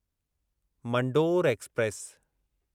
Mandore express